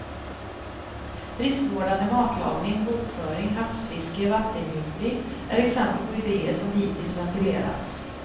Friskvårdande matlagning, bokföring, havsfiske, vattengymping är exempel på idéer som hittills ventilerats.